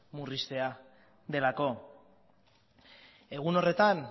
zerbitzua delako egun horretan